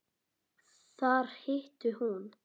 Þar hitti hún